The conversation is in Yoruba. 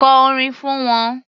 Kọ orin fún wọn.